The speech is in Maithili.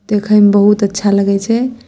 देखे मे बहुत अच्छा लगे छै।